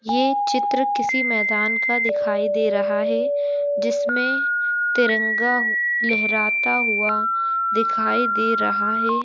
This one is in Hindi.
ये चित्र किसी मैदान का दिखाई दे रहा है जिसमे तिरंगा लहरता हुआ दिखाई दे रहा हैं।